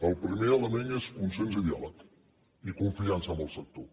el primer element és consens i diàleg i confiança en el sector